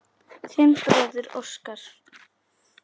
Þinn bróðir Óskar.